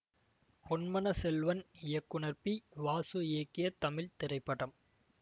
பொன்மன செல்வன் இயக்குனர் பி வாசு இயக்கிய தமிழ் திரைப்படம்